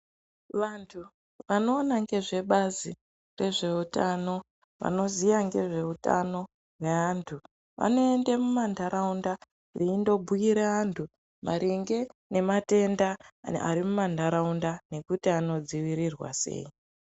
Vantu anoona ngezvebazi rezveutano, vanoziya ngezveutano hweantu vanoende mumantaraunda veindobhuira vantu maringe ngematenda ari mumantaraunda nekuti anodzivirirwa sei.